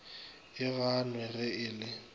e gannwe ge e le